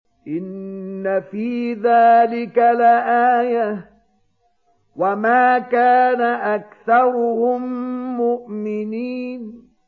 إِنَّ فِي ذَٰلِكَ لَآيَةً ۖ وَمَا كَانَ أَكْثَرُهُم مُّؤْمِنِينَ